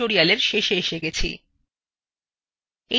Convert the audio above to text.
আমরা tutorialএর শেষে এসে গেছি